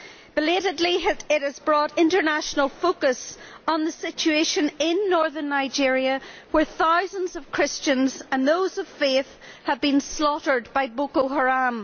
Belatedly it has brought international focus on the situation in northern Nigeria where thousands of Christians and those of faith have been slaughtered by Boko Haram.